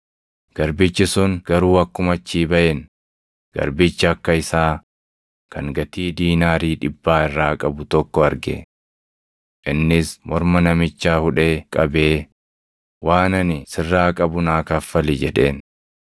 “Garbichi sun garuu akkuma achii baʼeen garbicha akka isaa kan gatii diinaarii + 18:28 Diinaariin mindaa guyyaatti hojjetaa tokkoof kaffalamu ture. dhibbaa irraa qabu tokko arge. Innis morma namichaa hudhee qabee, ‘Waan ani sirraa qabu naa kaffali’ jedheen.